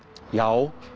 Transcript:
já